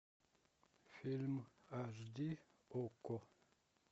фильм аш ди окко